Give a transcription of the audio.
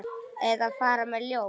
Eða fara með ljóð.